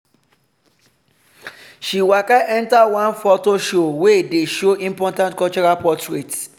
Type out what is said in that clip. she waka enter one photo show wey dey show important cultural portraits.